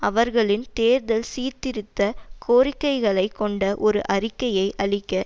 அவர்களின் தேர்தல் சீர்திருத்த கோரிக்கைகளைக் கொண்ட ஒரு அறிக்கையை அளிக்க